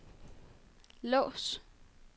lås